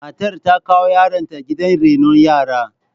Matar ta kawo yaronta gidan renon yara.